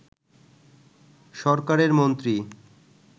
সরকারের মন্ত্রী